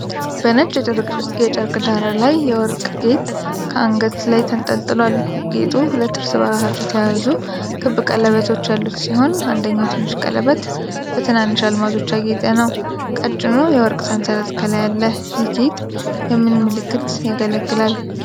በነጭ የጨርቅ ዳራ ላይ የወርቅ ጌጥ ከአንገት ላይ ተንጠልጥሏል። ጌጡ ሁለት እርስ በርሳቸው የተያያዙ ክብ ቀለበቶች ያሉት ሲሆን አንደኛው ቀለበት በትንንሽ አልማዞች ያጌጠ ነው። ቀጭኑ የወርቅ ሰንሰለት ከላይ አለ። ይህ ጌጥ የምን ምልክት ያገለግላል?